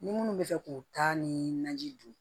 Ni minnu bɛ fɛ k'u ta ni naji dun